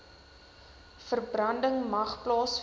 verbranding mag plaasvind